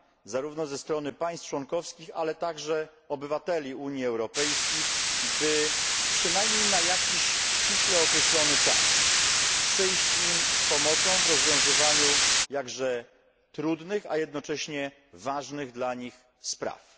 zarówno ze strony państw członkowskich, ale także obywateli Unii Europejskiej, by przynajmniej na jakiś ściśle określony czas przyjść im z pomocą w rozwiązywaniu jakże trudnych, a jednocześnie ważnych dla nich spraw.